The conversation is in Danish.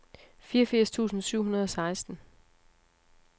fireogfirs tusind syv hundrede og seksten